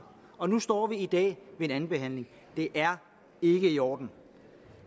og nu står vi i dag ved andenbehandlingen det er ikke i orden